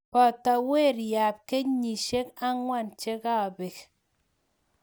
Poto weriab kenyisiek angwan che ka pek